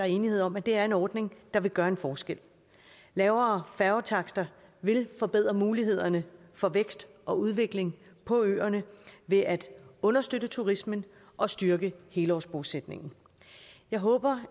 enighed om at det er en ordning der vil gøre en forskel lavere færgetakster vil forbedre mulighederne for vækst og udvikling på øerne ved at understøtte turismen og styrke helårsbosætningen jeg håber